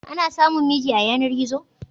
Ana samun miji a yanar-gizo?